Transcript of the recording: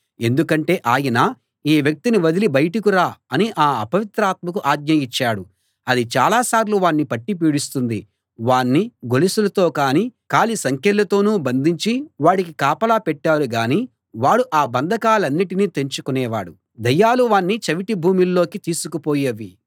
ఎందుకంటే ఆయన ఈ వ్యక్తిని వదిలి బయటకు రా అని ఆ అపవిత్రాత్మకు ఆజ్ఞ ఇచ్చాడు అది చాలాసార్లు వాణ్ణి పట్టి పీడిస్తుంది వాణ్ణి గొలుసులతోనూ కాలి సంకెళ్ళతోనూ బంధించి వాడికి కాపలా పెట్టారు గానీ వాడు ఆ బంధకాలన్నిటినీ తెంచుకునేవాడు దయ్యాలు వాణ్ణి చవిటి భూముల్లోకి తీసుకుపోయేవి